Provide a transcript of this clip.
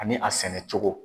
Ani a sɛnɛ cogo.